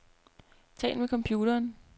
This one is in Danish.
Tal med computeren.